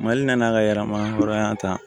Mali nana ka yɛlɛma hɔrɔnya ta